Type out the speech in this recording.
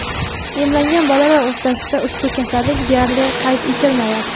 emlangan bolalar o‘rtasida ushbu kasallik deyarli qayd etilmayapti.